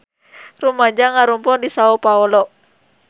Rumaja ngarumpul di Sao Paolo